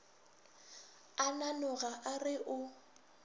a nanoga a re o